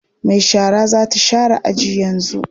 Mai shara za ta share aji yanzu.